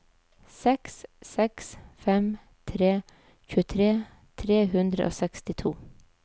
seks seks fem tre tjuetre tre hundre og sekstito